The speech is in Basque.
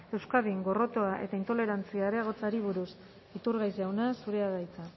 euskadin gorrotoa eta intolerantzia areagotzeari buruz iturgaiz jauna zurea da hitza